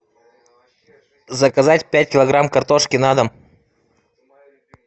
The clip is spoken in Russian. заказать пять килограмм картошки на дом